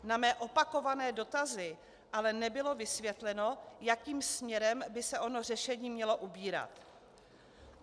Na mé opakované dotazy ale nebylo vysvětleno, jakým směrem by se ono řešení mělo ubírat.